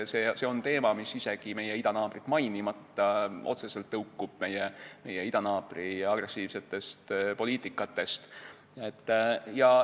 See on teema, mis – isegi meie idanaabrit mainimata – otseselt tõukub meie idanaabri agressiivsest poliitikast.